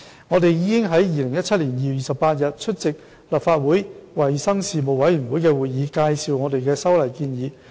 我們已於2017年2月28日出席立法會衞生事務委員會的會議，介紹我們的修例建議。